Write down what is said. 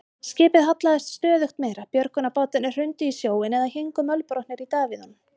Skipið hallaðist stöðugt meira, björgunarbátarnir hrundu í sjóinn eða héngu mölbrotnir í davíðunum.